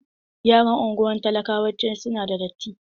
Yaran unguwar talakawayawanci su na da datti.